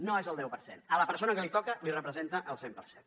no és el deu per cent a la persona que li toca li representa el cent per cent